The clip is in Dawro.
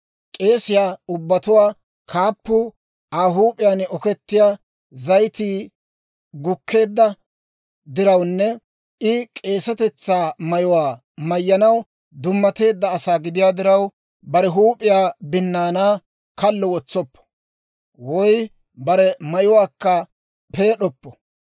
« ‹K'eesiyaa ubbatuwaa kaappuu, Aa huup'iyaan okettiyaa zayitii gukkeedda dirawunne I k'eesetetsaa mayuwaa mayyanaw dummateedda asaa gidiyaa diraw, bare huup'iyaa binnaanaa kallo wotsoppo; woy bare mayuwaakka peed'oppo.